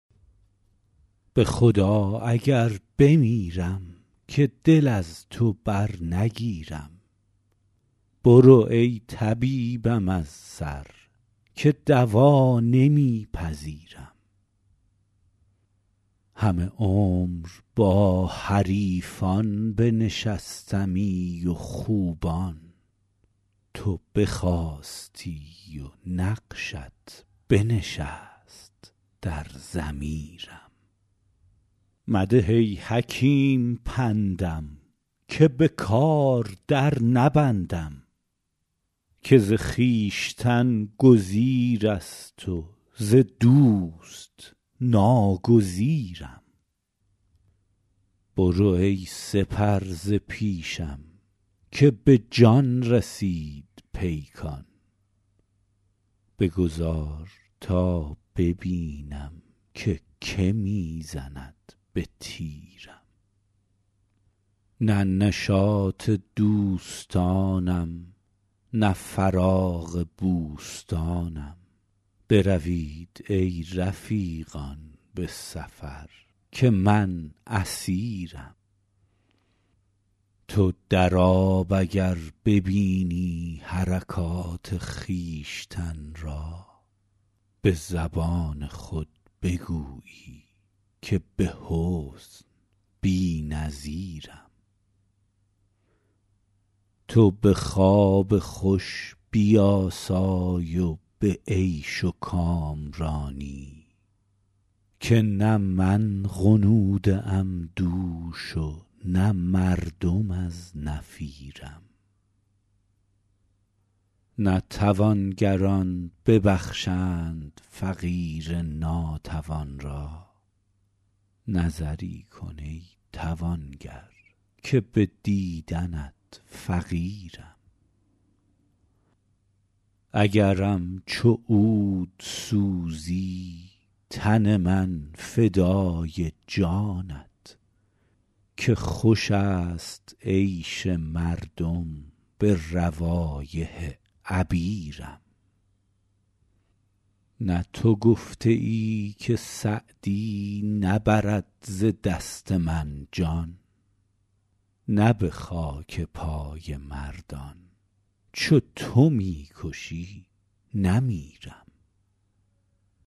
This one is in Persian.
به خدا اگر بمیرم که دل از تو برنگیرم برو ای طبیبم از سر که دوا نمی پذیرم همه عمر با حریفان بنشستمی و خوبان تو بخاستی و نقشت بنشست در ضمیرم مده ای حکیم پندم که به کار در نبندم که ز خویشتن گزیر است و ز دوست ناگزیرم برو ای سپر ز پیشم که به جان رسید پیکان بگذار تا ببینم که که می زند به تیرم نه نشاط دوستانم نه فراغ بوستانم بروید ای رفیقان به سفر که من اسیرم تو در آب اگر ببینی حرکات خویشتن را به زبان خود بگویی که به حسن بی نظیرم تو به خواب خوش بیاسای و به عیش و کامرانی که نه من غنوده ام دوش و نه مردم از نفیرم نه توانگران ببخشند فقیر ناتوان را نظری کن ای توانگر که به دیدنت فقیرم اگرم چو عود سوزی تن من فدای جانت که خوش است عیش مردم به روایح عبیرم نه تو گفته ای که سعدی نبرد ز دست من جان نه به خاک پای مردان چو تو می کشی نمیرم